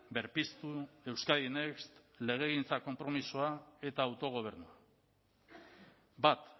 berpiztu euskadi next legegintza konpromisoa eta autogobernua bat